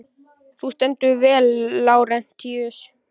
Þú stendur þig vel, Lárentíus!